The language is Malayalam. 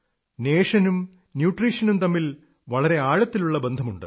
നേഷനും ന്യൂട്രീഷനും തമ്മിൽ വളരെ ആഴത്തിലുള്ള ബന്ധമുണ്ട്